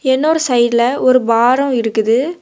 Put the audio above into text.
இன்னொரு சைடுல ஒரு பார் இருக்குது.